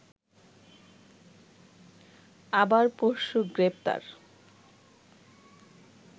আবার পরশু গ্রেপ্তার